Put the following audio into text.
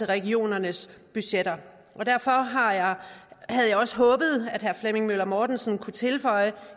regionernes budgetter derfor havde jeg også håbet at herre flemming møller mortensen kunne tilføje